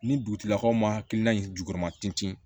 Ni dugutigilakaw ma hakilina in jukɔrɔma ten